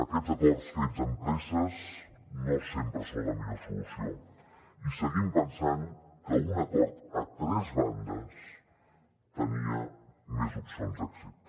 aquests acords fets amb presses no sempre són la millor solució i seguim pensant que un acord a tres bandes tenia més opcions d’èxit